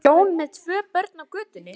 Hjón með tvö börn á götunni!